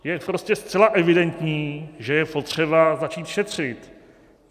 Je prostě zcela evidentní, že je potřeba začít šetřit.